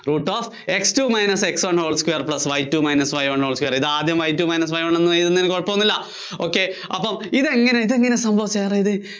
root of X two minus X one whole square plus Y two minus Y one whole square ഇതാദ്യം Y two minus Y one whole square എന്നെഴുതുന്നതിന് കുഴപ്പമൊന്നും ഇല്ല. Ok അപ്പോ ഇതെങ്ങിനെ, ഇതെങ്ങിനെ സംഭവിച്ചേ അതായത്